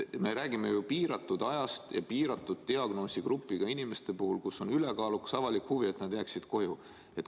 Me räägime ju piiratud ajast ja kindla diagnoosiga inimeste grupist, kelle puhul on ülekaalukas avalik huvi, et nad jääksid koju.